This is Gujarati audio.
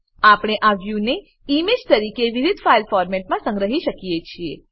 આપણે આ વ્યુને ઈમેજ તરીકે વિવિધ ફાઈલ ફોર્મેટોમાં સંગ્રહી શકીએ છીએ